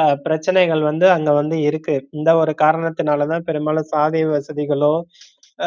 அஹ் பிரச்சனைகள் வந்து அங்க வந்து இருக்கு அந்த ஒரு காரணத்துனலதான் பெரும்பாலும் சாலை வசதிகளோ,